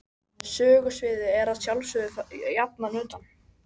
Sögusviðið er að sjálfsögðu jafnan utan